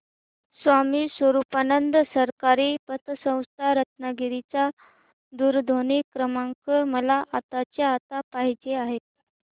स्वामी स्वरूपानंद सहकारी पतसंस्था रत्नागिरी चा दूरध्वनी क्रमांक मला आत्ताच्या आता पाहिजे आहे